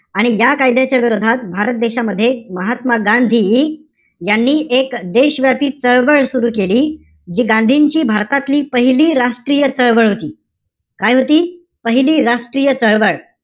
आणि या कायद्याच्या विरोधात भारत देशामध्ये महात्मा गांधी यांनी एक देश व्यापी चळवळ सुरु केली. जी गांधींची भारतातली पहिली राष्ट्रीय चळवळ होती. काय होती? पहिली राष्ट्रीय चळवळ.